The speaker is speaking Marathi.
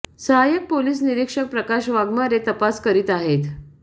सहायक पोलिस निरीक्षक प्रकाश वाघमारे तपास करीत आहेत